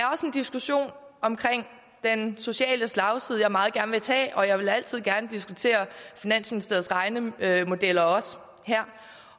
diskussion omkring den sociale slagside jeg meget gerne vil tage og jeg vil altid gerne diskutere finansministeriets regnemodeller også her